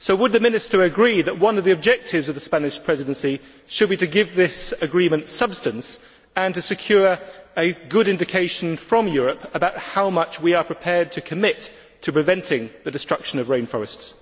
So, would the Minister agree that one of the objectives of the Spanish Presidency should be to give this agreement substance and to secure a good indication from Europe about how much we are prepared to commit to prevent the destruction of rain forests?